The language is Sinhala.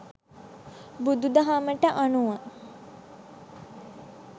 බුදුදහමට අනුව